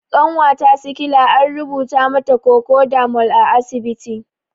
Ƙanwata sikila an rubuta mata kokodamol a asibiti